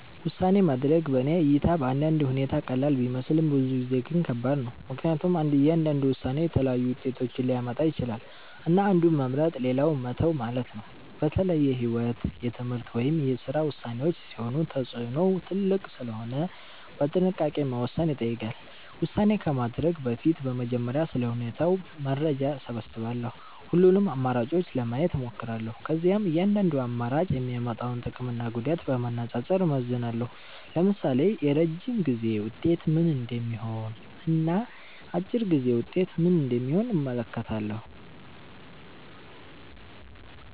ውሳኔ ማድረግ በእኔ እይታ በአንዳንድ ሁኔታ ቀላል ቢመስልም ብዙ ጊዜ ግን ከባድ ነው። ምክንያቱም እያንዳንዱ ውሳኔ የተለያዩ ውጤቶችን ሊያመጣ ይችላል፣ እና አንዱን መምረጥ ሌላውን መተው ማለት ነው። በተለይ የህይወት፣ የትምህርት ወይም የስራ ውሳኔዎች ሲሆኑ ተጽዕኖው ትልቅ ስለሆነ በጥንቃቄ መወሰን ይጠይቃል። ውሳኔ ከማድረግ በፊት በመጀመሪያ ስለ ሁኔታው መረጃ እሰብስባለሁ። ሁሉንም አማራጮች ለማየት እሞክራለሁ። ከዚያም እያንዳንዱ አማራጭ የሚያመጣውን ጥቅምና ጉዳት በማነጻጸር እመዝናለሁ። ለምሳሌ የረጅም ጊዜ ውጤት ምን እንደሚሆን እና አጭር ጊዜ ውጤት ምን እንደሚሆን እመለከታለሁ።